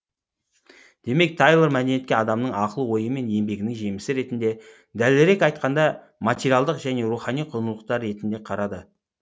демек тайлор мәдениетке адамның ақыл ойы мен еңбегінің жемісі ретінде дәлірек айтқанда материалдық және рухани құндылықтар ретінде қарады